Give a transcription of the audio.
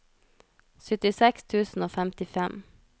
syttiseks tusen og femtifem